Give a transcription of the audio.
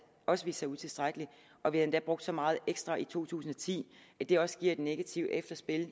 også viste sig utilstrækkelig og vi har endda brugt så meget ekstra i to tusind og ti at det også giver et negativt efterspil i